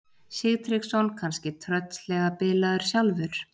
Sigtryggsson kannski tröllslega bilaður sjálfur?